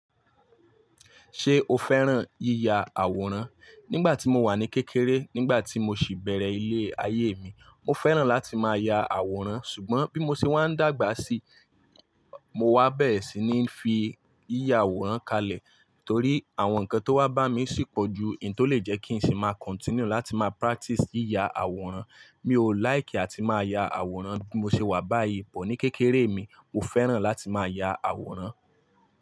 Ṣé o fẹ́ràn yíya àwòrán? Nígbà tí mo wà ní kékeré, nígbà tí mo sì bẹ̀rẹ̀ ilé ayé mi, mo fẹ́ràn láti máa ya àwòrán. Ṣùgbọ́n bí mo ṣe wá ń dàgbà sí, mo wá bẹ́rẹ̀ sì ní fí yíya àwòrán kalẹ̀ torí àwọn nǹkan tó wá bá mi sì pọ̀ ju ín tó lè jẹ́ kí n sì máa continue láti máa practice yíya àwòrán. Mi ò like àti máa ya àwòrán bí mo ṣe wà báyìí, but ní kékeré mi, mo fẹ́ràn láti máa ya àwòrán.